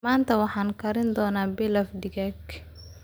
Maanta waxaan kari doonaa pilaf digaag.